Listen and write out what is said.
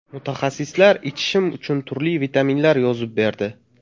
Mutaxassislar ichishim uchun turli vitaminlar yozib berdi.